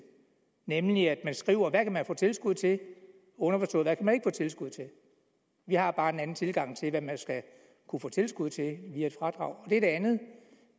nemlig at man skriver hvad man kan få tilskud til og underforstået hvad man ikke tilskud til vi har bare en anden tilgang til hvad man skal kunne få tilskud til via et fradrag det andet